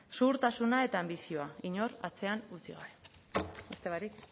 zuhurtasuna eta anbizioa inor atzean utzi gabe beste barik